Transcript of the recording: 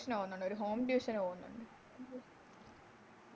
Tution പോവുന്നുണ്ട് ഒര് Home tuition ന് പോവുന്നുണ്ട്